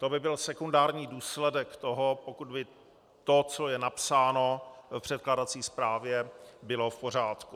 To by byl sekundární důsledek toho, pokud by to, co je napsáno v předkládací zprávě, bylo v pořádku.